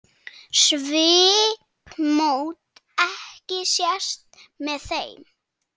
Svipmót ekki sést með þeim.